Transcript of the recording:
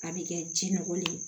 A bɛ kɛ jɛnɔgɔli ye